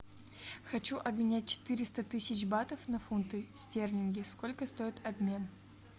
хочу обменять четыреста тысяч батов на фунты стерлинги сколько стоит обмен